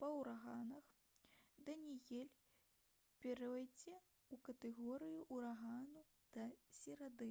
па ўраганах даніэль пяройдзе ў катэгорыю ўрагану да серады